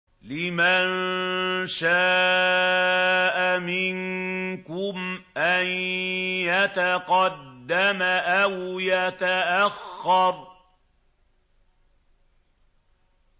لِمَن شَاءَ مِنكُمْ أَن يَتَقَدَّمَ أَوْ يَتَأَخَّرَ